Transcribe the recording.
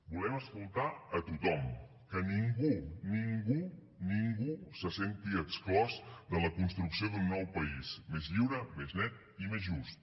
volem escoltar a tothom que ningú ningú ningú se senti exclòs de la construcció d’un nou país més lliure més net i més just